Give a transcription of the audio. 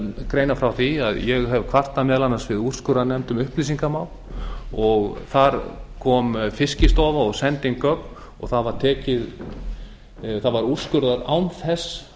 greina frá því að ég hef kvartað meðal annars við úrskurðarnefnd um upplýsingamál og þar kom fiskistofa og sendi inn gögn og það var úrskurðað án þess